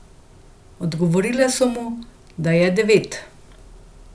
Odgovorile so mu, da je devet.